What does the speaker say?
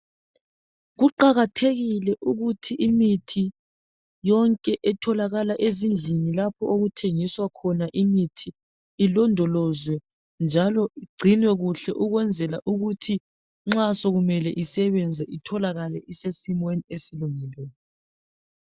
Kuqakathekile ukuthi imithi yonke etholakala ezindlini lapho okuthengiswa khona imithi ilondolozwe njalo igcinwe kuhle ukwenzela ukuthi nxa sokumele isebenze itholakale isesimeni ezilungileyo.